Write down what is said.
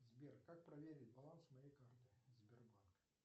сбер как проверить баланс моей карты сбербанка